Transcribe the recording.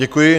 Děkuji.